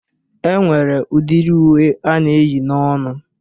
E nwere udiri uwe a na-eyi n'onu